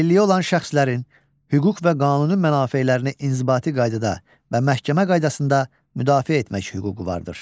Əlilliyi olan şəxslərin hüquq və qanuni mənafelərini inzibati qaydada və məhkəmə qaydasında müdafiə etmək hüququ vardır.